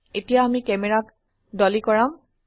এতিয়া আমি ক্যামেৰাক ডলী কৰাম